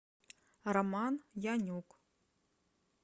роман янюк